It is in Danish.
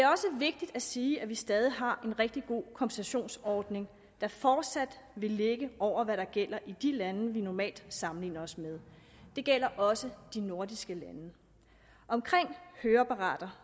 vigtigt at sige at vi stadig har en rigtig god kompensationsordning der fortsat vil ligge over hvad der gælder i de lande vi normalt sammenligner os med det gælder også de nordiske lande omkring høreapparater